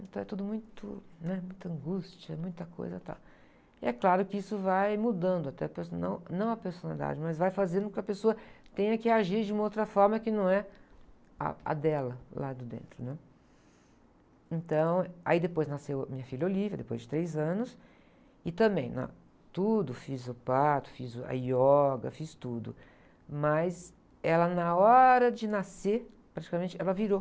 então é tudo muito, né? Muita angústia, muita coisa, tal. É claro que isso vai mudando até a persona, não, não a personalidade, mas vai fazendo com que a pessoa tenha que agir de uma outra forma que não é a, a dela lá de dentro, né? Então, aí depois nasceu minha filha Olivia, depois de três anos e também, na, tudo fiz o parto, fiz a yoga, fiz tudo, mas ela na hora de nascer praticamente ela virou.